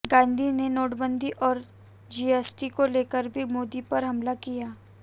गांधी ने नोटबंदी और जीएसटी को लेकर भी मोदी पर हमला किया